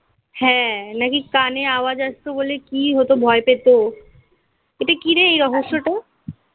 হ্যাঁ নাকি কানে আওয়াজ আসতো বলে কি হতো ভয় পেতো. এটা কি রে এই রহস্যটা?